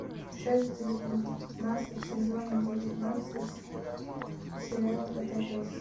часть девятнадцать сезона девятнадцать сериала котопес